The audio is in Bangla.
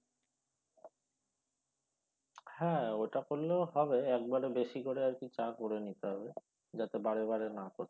হ্যাঁ ওটা করলেও হবে একবারে বেশি করে আর কি চা করে নিতে হবে যাতে বারে বারে না করতে